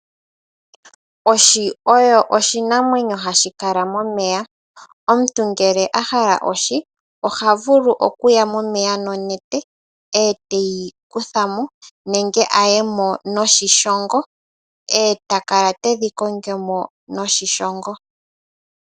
Ohi oyo oshinamwenyo hashikala momeya. Omuntu ngele ahala ohi ohavulu okuya momeya nonete e teyi kuthamo nenge ayemo noshishongo e takala tedhi kongomo noshishongo.